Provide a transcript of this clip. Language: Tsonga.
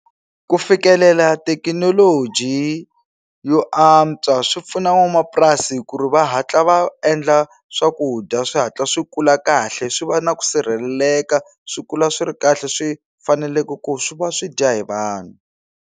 Ku fikelela thekinoloji yo antswa swi pfuna van'wamapurasi ku ri va hatla va endla swakudya swi hatla swi kula kahle swi va na ku sirheleleka swi kula swi ri kahle swi faneleke ku swi va swi dya hi vanhu.